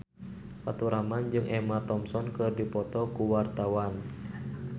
Faturrahman jeung Emma Thompson keur dipoto ku wartawan